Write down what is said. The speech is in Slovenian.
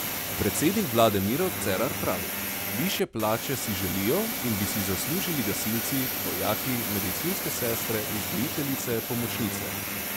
Predsednik vlade Miro Cerar pravi: "Višje plače si želijo in bi si zaslužili gasilci, vojaki, medicinske sestre, vzgojiteljice, pomočnice ...